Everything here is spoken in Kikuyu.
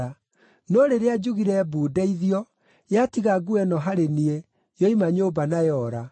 No rĩrĩa njugire mbu ndeithio, yatiga nguo ĩno harĩ niĩ, yoima nyũmba na yora.”